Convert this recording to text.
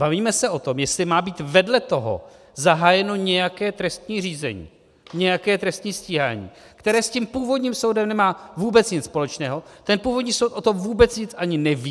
Bavíme se o tom, jestli má být vedle toho zahájeno nějaké trestní řízení, nějaké trestní stíhání, které s tím původním soudem nemá vůbec nic společného, ten původní soud o tom vůbec nic ani neví.